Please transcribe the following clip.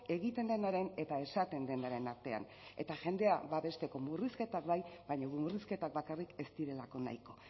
egiten denaren eta esaten denaren artean eta jendea babesteko murrizketak bai baina murrizketak bakarrik ez direlako nahiko